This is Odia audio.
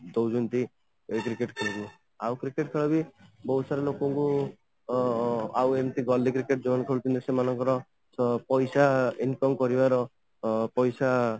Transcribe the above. କହୁଛନ୍ତି ଏଇ cricket ଖେଲାଣି ଆଉ cricket ଖେଳ ବି ବହୁତ ସାରା ଲୋକଙ୍କୁ ଅଂ ଆଉ ଏମିତି ରେ ଯୋଉମାନେ cricket ଖେଳୁଛନ୍ତି ତ ପଇସା income କରିବାର ଅ